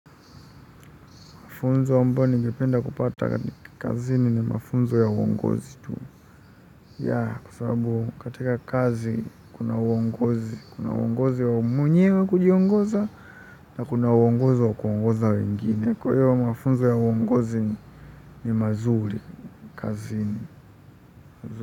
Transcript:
Mafunzo ambayo ningependa kupata kazini ni mafunzo ya uongozi tu. Kwa sabubu katika kazi kuna uongozi. Kuna uongozi wa mwenyewe kujiongoza na kuna uongozi wa kuongoza wengine. Kwa hiyo mafunzo ya uongozi ni mazuri kazini.